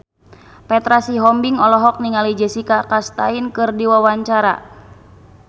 Petra Sihombing olohok ningali Jessica Chastain keur diwawancara